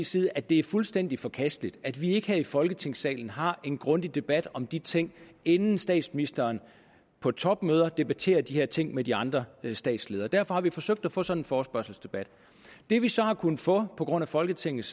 side at det er fuldstændig forkasteligt at vi ikke her i folketingssalen har en grundig debat om de ting inden statsministeren på topmøder debatterer de her ting med de andre statsledere derfor har vi forsøgt at få sådan en forespørgselsdebat det vi så har kunnet få på grund af folketingets